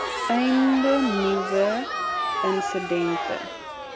einde nuwe insidente